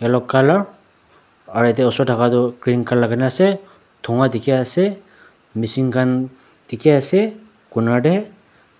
yellow colour aro eta osor thaka toh green colour laikai kena ase duikan dikey ase machine khan dikey ase corner tey